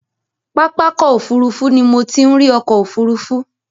Pápákọ̀ òfurufú ni mo ti ń ri ọkọ̀ òfurufú.